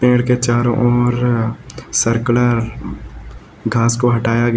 पेड़ के चारो ओर सर्कुलर घास को हटाया गया--